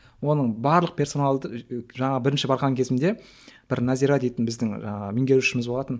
оның барлық персоналдың жаңағы бірінші барған кезімде бір назира дейтін біздің жаңағы меңгерушіміз болатын